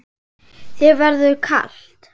Þér verður kalt